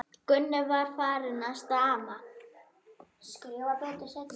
Gunni var farinn að stama.